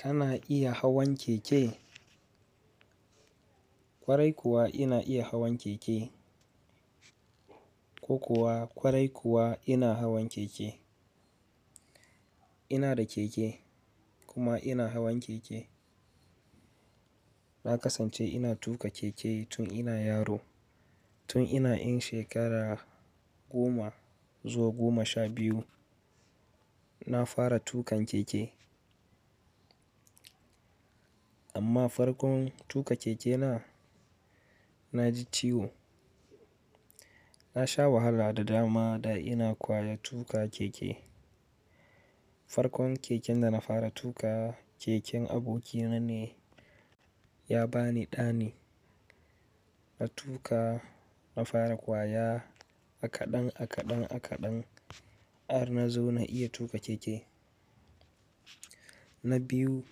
Kana iya hawan keke? Kwarai kuwa ina iya hawan keke. Ko kuwa kwarai kuwa ina hawan keke. Ina da keke kuma ina hawan keke. Na kasance ina tuƙa keke tun ina yaro. Tun ina in shekara goma zuwa goma sha biyu na fara tuƙan keke. Amma farkon tuƙa keke na, na ji ciwo. Na sha wahala da dama da ina kwaya tuƙa keke. Farkon keken da na fara tuƙa keken abokina ne ya ba ni ɗani. Na tuƙa, na fara kwaya akaɗan, akaɗan, akaɗan har na zo na iya tuƙa keke. Na biyu,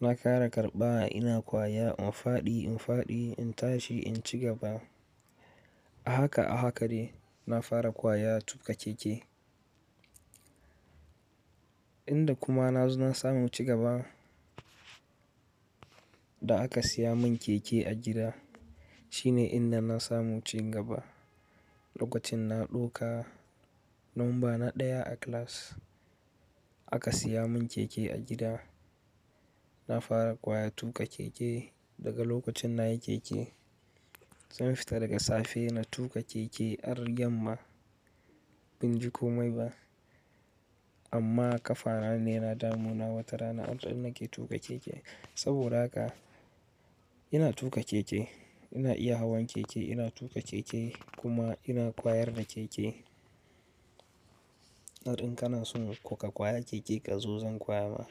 na ƙara karɓa ina kwaya in faɗi, in faɗi, in tashi, in ci gaba. Ahaka, ahakane na fara kwaya tuƙa keke. Inda kuma na zo na samu ci gaba, da aka siya mun keke a gida shine inda na samu ci gaba. Lokacin na ɗauka, lambana ɗaya a class aka siya mun keke a gida. Na fara kwaya tuƙa keke daga lokacin na yi keke. Zan fita daga safe na tuƙa keke har yamma ban ji komai ba. Amma ƙafana ne na damu na wata rana inda nake tuƙa keke. Saboda haka ina tuƙa keke, ina iya hawan keke, ina tuƙa keke kuma ina kwayar da keke. Inda kana son kuka kwaya keke ka zo zan kwaya ma.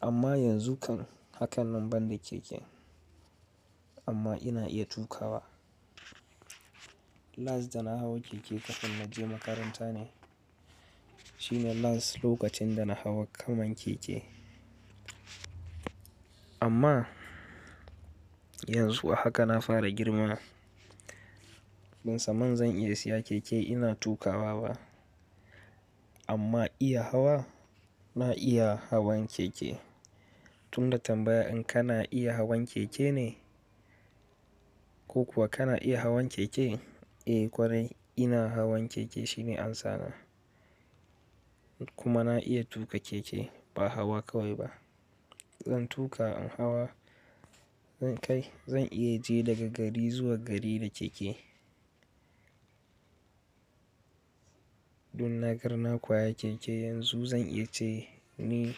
Amma yanzu kan hakan lamban da keken amma ina iya tuƙawa. Last da na hau keke kafin na je makaranta ne. Shine last lokacin da na hau kaman keke. Amma yanzu a haka na fara girma ban san man zan iya siya keke ina tuƙawa ba. Amma iya hawa na iya hawan keke. Tun da tambaya in kana iya hawan keke ne? Ko kuwa kana iya hawan keke? Eh kwarai ina hawan keke shine amsana. Kuma na iya tuƙa keke ba hawa kawai ba. Zan tuƙa in hawa, zan kai zan iya je daga gari zuwa gari da keke. Dun na garna kwaya keke yanzu zan iya ce ni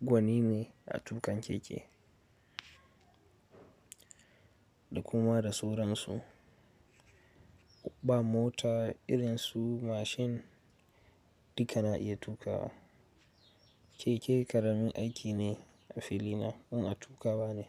gwani ne a tuƙan keke. Da kuma da sauransu. Ba mota irin su mashin duk ana iya tuƙawa. Keke ƙaramin aiki ne a fili na in ina tuƙawa ne.